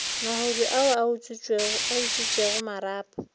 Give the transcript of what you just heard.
mahodu ao a utswitšego marapo